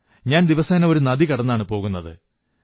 ഞാൻ ദിവസേന ഒരു നദി കടന്നാണ് പോകുന്നത്